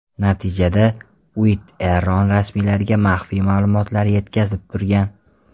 Natijada, Uitt Eron rasmiylariga maxfiy ma’lumotlar yetkazib turgan.